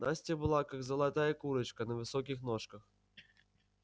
настя была как золотая курочка на высоких ножках